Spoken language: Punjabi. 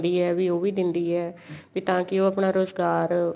ਵੀ ਉਹ ਵੀ ਦੇਂਦੀ ਏ ਵੀ ਤਾਂ ਕੀ ਉਹ ਆਪਣਾ ਰੁਜਗਾਰ